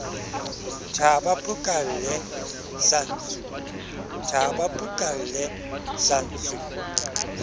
thaha ba phukalle sa ntsu